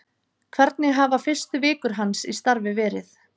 Hvernig hafa fyrstu vikur hans í starfi verið?